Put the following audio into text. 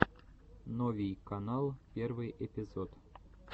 новий канал первый эпизод